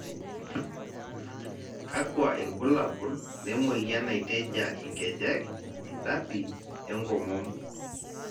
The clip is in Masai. kakua irbulabol le moyiana naitejia inkejek, idspi, enkomom?